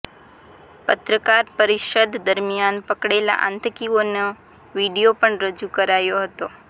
પત્રકાર પરિષદ દરમ્યાન પકડેલા આતંકીઓનો વીડિયો પણ રજૂ કરાયો હતો